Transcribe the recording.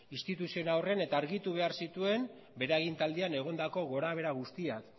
instituziora horren eta argitu behar zituen bere agintaldian egondako gorabehera guztiak